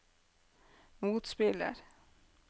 motspiller